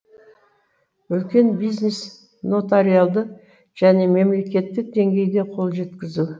үлкен бизнес нотариалды және мемлекеттік деңгейде қол жеткізу